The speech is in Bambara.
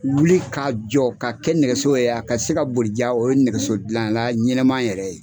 Wuli k'a jɔ ka kɛ nɛgɛso ye a ka se ka bolija o ye nɛgɛso dilan la ɲɛnɛma yɛrɛ ye.